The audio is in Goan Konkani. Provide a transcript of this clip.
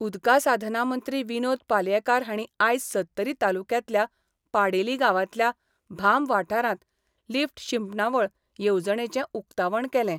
उदका साधना मंत्री विनोद पालयेकार हांणी आयज सत्तरी तालुक्यांतल्या पाडेली गांवांतल्या भाम वाठारांत लिफ्ट शिंपणावळ येवजणेचे उकतावण केलें.